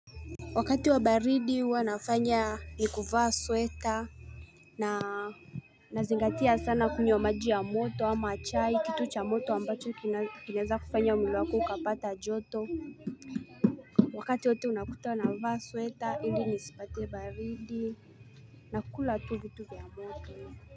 Wakati wa baridi huwa nafanya ni kuvaa sweta Nazingatia sana kunywa maji ya moto ama chai kitu cha moto ambacho kinaweza kufanya mwili wako ukapata joto Wakati wote unakuta navaa sweta ili nisipate baridi na kukula tu vitu vya moto.